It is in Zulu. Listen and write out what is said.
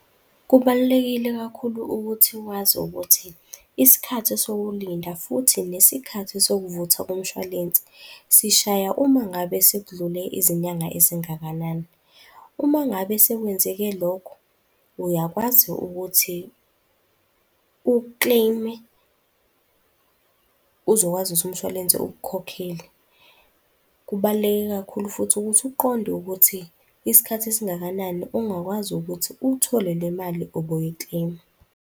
Kubalulekile kakhulu ukuthi wazi ukuthi isikhathi sokulinda futhi nesikhathi sokuvuthwa komshwalense sishaya uma ngabe sekudlule izinyanga ezingakanani. Uma ngabe sekwenzeke lokho, uyakwazi ukuthi ukleyime uzokwazi ukuthi umshwalense ukukhokhele. Kubaluleke kakhulu futhi ukuthi uqonde ukuthi isikhathi esingakanani ongakwazi ukuthi uthole le mali obuyikleyima.